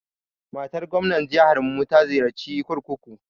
Matar gwamnar jiharmu ta ziyarci kurkuku.